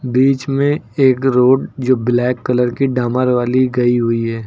बीच में एक रोड जो ब्लैक कलर की डामर वाली गई हुई है।